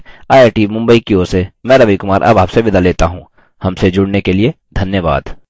यह स्क्रिप्ट देवेन्द्र कैरवान द्वारा अनुवादित है आई आई टी मुंबई की ओर से मैं रवि कुमार अब आपसे विदा लेता हूँ हमसे जुड़ने के लिए धन्यवाद